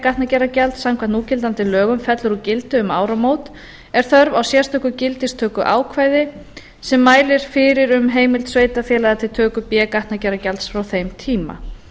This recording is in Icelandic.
gatnagerðargjalds samkvæmt núgildandi lögum fellur úr gildi um áramót er þörf á sérstöku gildistökuákvæði sem mælir fyrir um heimild sveitarfélaga til töku b gatnagerðargjalds frá þeim tíma